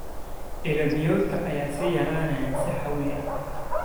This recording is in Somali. Ilo biyoodka ayaa sii yaraanaya si xawli ah.